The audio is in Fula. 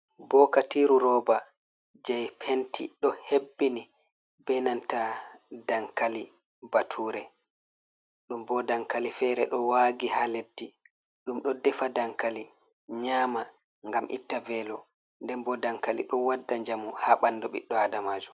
Bokatiiru rooba jey penti, ɗo hebbini be nanta dankali batuure. Ɗum bo dankali feere ɗo waagi haa leddi, ɗum ɗo defa dankali nyaama, ngam itta veelo. Nden bo dankali ɗo wadda njamu, haa ɓanndu ɓiɗɗo aadamajo.